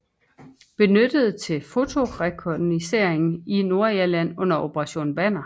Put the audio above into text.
Benyttet til fotorekognoscering i Nordirland under Operation Banner